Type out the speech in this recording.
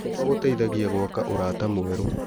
Gũthoma gũteithagia gwaka ũrata mwerũ.